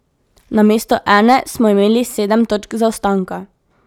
Namesto ene smo imeli sedem točk zaostanka.